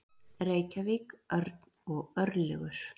Reykjavík, Örn og Örlygur